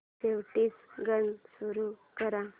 शेवटचं गाणं सुरू कर